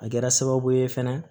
A kɛra sababu ye fɛnɛ